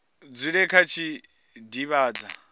dzule vha tshi khou divhadza